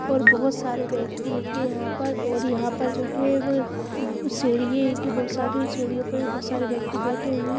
और बहोत सारे व्यक्ति एंगे यहां पर और यहां पर जो है व क ब सीढ़िये एंगी बहोत सारी और सीढ़ियो पर भी बहुत सारे व्यक्ति बैठे हुए।